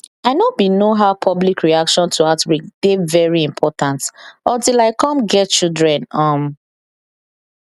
i know bin know how public reaction to outbreak dey very important until i cum get children um